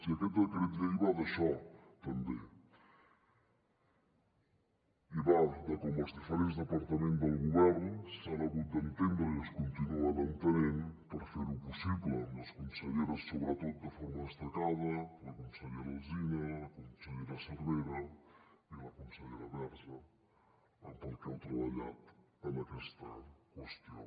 i aquest decret llei va d’això també i va de com els diferents departaments del govern s’han hagut d’entendre i es continuen entenent per fer ho possible amb les conselleres sobretot de forma destacada la consellera alsina la consellera cervera i la consellera verge pel que heu treballat en aquesta qüestió